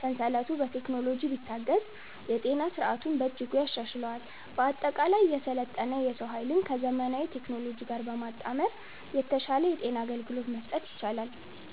ሰንሰለቱ በቴክኖሎጂ ቢታገዝ የጤና ሥርዓቱን በእጅጉ ያሻሽለዋል። በአጠቃላይ፣ የሰለጠነ የሰው ኃይልን ከዘመናዊ ቴክኖሎጂ ጋር በማጣመር የተሻለ የጤና አገልግሎት መስጠት ይቻላል።